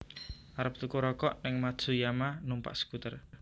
Arep tuku rokok ning Matsuyama numpak skuter